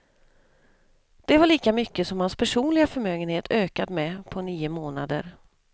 Det var lika mycket som hans personliga förmögenhet ökat med på nio månader.